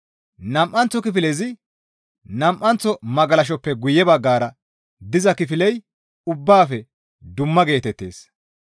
Nam7anththo kifilezi nam7anththo magalashaappe guye baggara diza kifiley ubbaafe dumma geetettees.